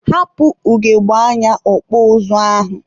hapụ ugogbe anya ọkpụ ụzụ ahụ!